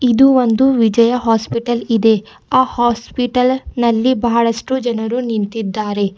ಇದು ಒಂದು ವಿಜಯ ಹಾಸ್ಪಿಟಲ್ ಇದೆ ಆ ಹಾಸ್ಪಿಟಲ್ ನಲ್ಲಿ ಬಹಳಷ್ಟು ಜನರು ನಿಂತಿದ್ದಾರೆ.